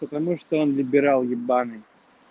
потому что он либерал ебанный